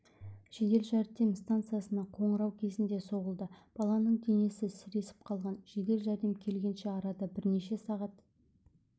жедел жәрдем станциясына қоңырау кезінде соғылды баланың денесі сіресіп қалған жедел жәрдем келгенше арада бірнеше сағат